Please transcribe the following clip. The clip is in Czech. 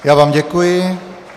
Já vám děkuji.